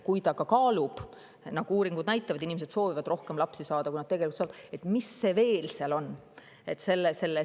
Kui inimene kaalub laste saamist – uuringud näitavad, et inimesed soovivad rohkem lapsi saada, kui nad tegelikult saavad –, siis mis see miski on?